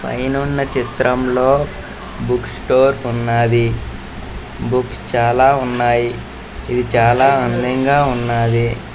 పైనున్న చిత్రములో book store ఉన్నది. బుక్స్ చాల ఉన్నాయి. ఇవి చాల అందంగా ఉన్నది.